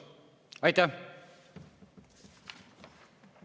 Aitäh!